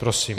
Prosím.